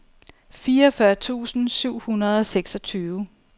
fireogfyrre tusind syv hundrede og seksogtyve